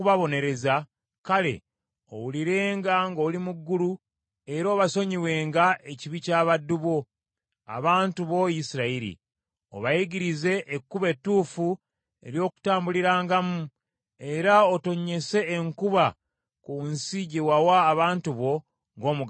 kale owulirenga ng’oli mu ggulu, era obasonyiwenga ekibi ky’abaddu bo, abantu bo Isirayiri. Obayigirize ekkubo etuufu ery’okutambulirangamu, era otonnyese enkuba ku nsi gye wawa abantu bo ng’omugabo gwabwe.